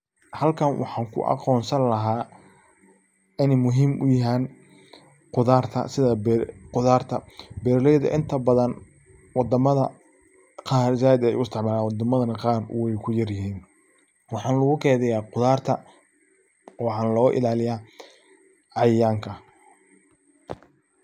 Halkan waxan kuagonsan laha, ini muxiim uyaxan qudarta, sidha qudarta, beraleyda inta badan , wadamada qaar zaid ayay uisticmalan, wadamada qaar nah way kuyaryixin, waxan lagukeydiya qudarta , waxan logailaliya cayayanka.